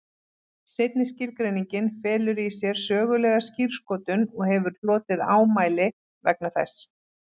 Seinni skilgreiningin felur í sér sögulega skírskotun og hefur hlotið ámæli vegna þess.